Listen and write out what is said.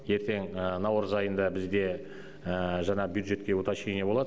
ертең наурыз айында бізде жаңағы бюджетке уточнение болад